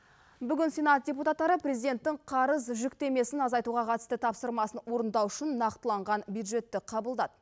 бүгін сенат депутаттары президенттің қарыз жүктемесін азайтуға қатысты тапсырмасын орындау үшін нақтыланған бюджетті қабылдады